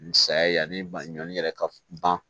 Ni saya ye yanni ba ɲɔni yɛrɛ ka ban